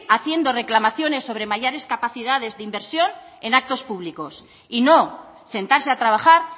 haciendo reclamaciones sobre mayores capacidades de inversión en actos públicos y no sentarse a trabajar